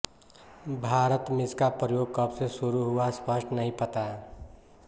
भारत में इसका प्रयोग कब से शुरू हुआ स्पष्ट नहीं पता